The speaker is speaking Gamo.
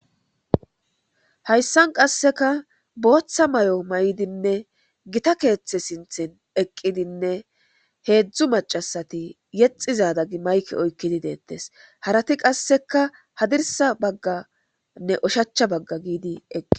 hayssan qasseka booththa may7o may7dinne gita keeththe sinthin eqqidinne heedzdzu macasati yexizadagi mayke oykkidi deettes harati qasseka hadirsa bagganne oshacha bagga giidi eqqi